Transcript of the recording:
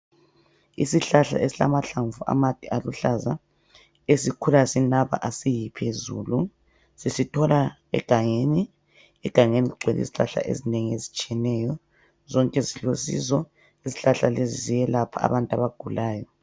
Isihlahla esilamahlamvu amade aluhlaza esikhula sinaba asiyi phezulu sisithola egangeni, egangeni kugcwele izihlahla ezinengi ezitshiyeneyo zonke zilosizo izihlahla lezi ziyelapha abantu abagulayo.